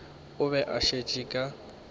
o be a šetše ka